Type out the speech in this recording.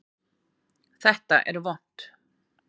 Þetta er vont!